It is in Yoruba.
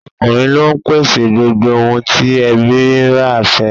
Ọkùnrin ló ń pèsè gbogbo ohun tí ẹbí i rẹ̀ fẹ́